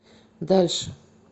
дальше